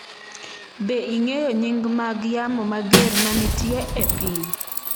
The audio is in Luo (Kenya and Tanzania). Be ing’eyo nying’ mag yamo mager ma nitie e piny?